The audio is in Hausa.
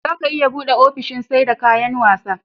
zaga iya buɗe ofishin seda kayan wasa